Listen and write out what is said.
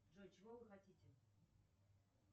джой чего вы хотите